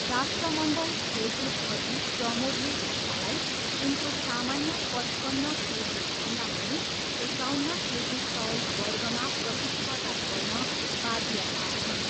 राष्ट्रमण्डल खेलकुदअघि, प्रमोदले गीतालाई उनको सामान्य पचपन्न केजीभन्दा पनि एकाउन्न केजी तौल वर्गमा प्रतिस्पर्धा गर्न बाध्य पार्छन्।